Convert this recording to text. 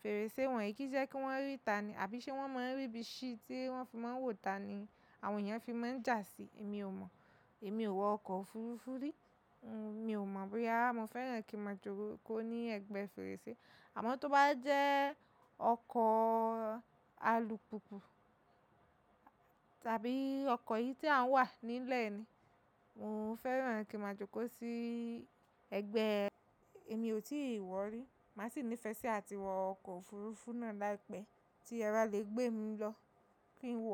fèrèsé wọ̀nyí, kí í jẹ́ kí wọ́n rí ìta ni àbí ṣe wọ́n máa ń rí ibi sí tí wọ́n fi máa ń wò ìta ni àwọn èèyàn fi máa ń jà sí i. Èmi ò mọ̀. Èmi ò wọ ọkọ̀ òfuurufú rí. Mi ò mọ̀ bóyá mo fẹ́ràn kí mo jókòó ní ẹ̀gbẹ́ fèrèsé. Àmọ́ tó bá jẹ́ ọkọ̀ alùpùpù tàbí ọkọ̀ yìí tí a wà nílẹ̀ ni, mo fẹ́ràn kí mo jókòó sí ẹ̀gbẹ́. Èmi ò tíì wọ̀ rí. Màá sì nífẹ̀ẹ́ sí àti wọ ọkọ̀ òfuurufú náà láìpẹ́ tí ẹ ba le gbé mi lọ kí n wọ̀